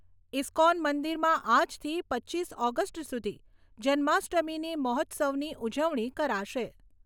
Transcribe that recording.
ISKCON મંદિરમાં આજથી પચીસ ઓગસ્ટ સુધી જન્માષ્ટમીની મહોત્સવની ઉજવણી કરાશે.